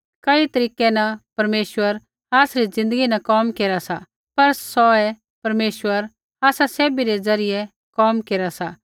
कई तरीकै न परमेश्वर आसरी ज़िन्दगी न कोम केरा सा पर सौऐ परमेश्वर आसा सैभी रै ज़रियै कोम केरा सा